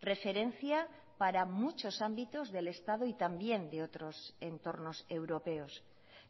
referencia para muchos ámbitos del estado y también de otros entornos europeos